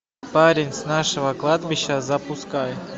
парень с нашего кладбища запускай